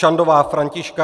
Čandová Františka